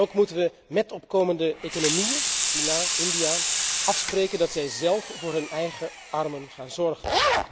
Ook moeten we met opkomende economieën, China, India, afspreken dat zij zelf voor hun eigen armen gaan zorgen.